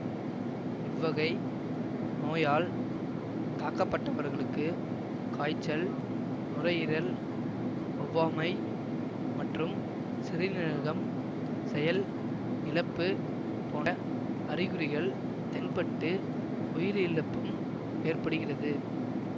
இவ்வகை நோயால் தாக்கப்பட்டவர்களுக்கு காய்ச்சல் நுரையீரல் ஒவ்வாமை மற்றும் சிறுநீரகம் செயல் இழப்பு போன்ற அறிகுறிகள் தென்பட்டு உயிரிழப்பும் ஏற்படுகிறது